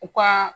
U ka